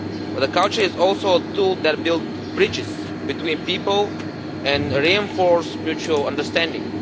But culture is also a tool that builds bridges between people and reinforces mutual understanding.